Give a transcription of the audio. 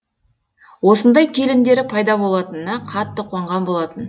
осындай келіндері пайда болатынына қатты қуанған болатын